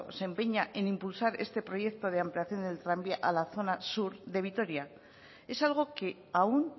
se empeña en impulsar este proyecto de ampliación en el tranvía a la zona sur de vitoria es algo que aún